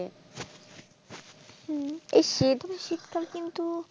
এই শীত টা বেশি কিন্তু,